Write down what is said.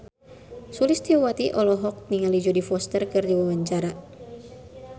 Sulistyowati olohok ningali Jodie Foster keur diwawancara